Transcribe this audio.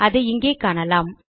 அதை இங்கே காணலாம்